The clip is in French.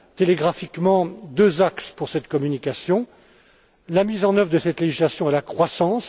schématiquement deux axes pour cette communication la mise en œuvre de cette législation et la croissance.